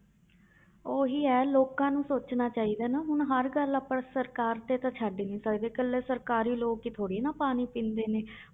ਉਹੀ ਹੈ ਲੋਕਾਂ ਨੂੰ ਸੋਚਣਾ ਚਾਹੀਦਾ ਨਾ ਹੁਣ ਹਰ ਗੱਲ ਆਪਾਂ ਸਰਕਾਰ ਤੇ ਤਾਂ ਛੱਡ ਨੀ ਸਕਦੇ, ਇਕੱਲੇ ਸਰਕਾਰੀ ਲੋਕ ਹੀ ਥੋੜ੍ਹੀ ਨਾ ਪਾਣੀ ਪੀਂਦੇ ਨੇ